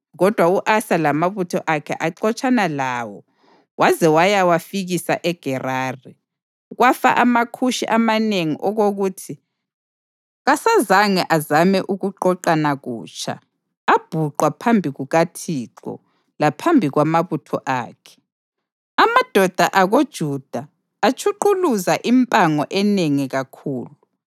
kodwa u-Asa lamabutho akhe waxotshana lawo waze wayawafikisa eGerari. Kwafa amaKhushi amanengi okokuthi kasazange azame ukuqoqana kutsha; abhuqwa phambi kukaThixo laphambi kwamabutho akhe. Amadoda akoJuda atshuquluza impango enengi kakhulu.